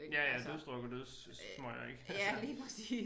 Ja ja dødsdruk og dødssmøger ik